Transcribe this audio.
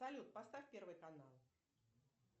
салют поставь первый канал